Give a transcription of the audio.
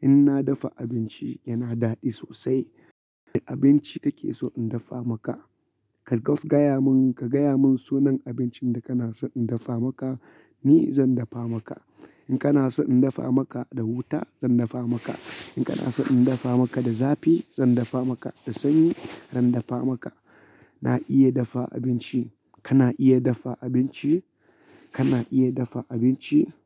In na dafa abinci yana daɗi sosai. Wane abinci kake so in dafa maka? Ka gayamun, ka gaya mun sunan abincin da kana so in dafa maka, ni zan dafa maka. In kana so in dafa maka da wuta, zan dafa maka. In kana so in dafa maka da zafi, zan dafa maka. Da sanyi, zan dafa maka. Na iya dafa abinci. Kana iya dafa abinci? Kana iya dafa abinci?